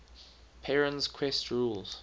perrin's quest rules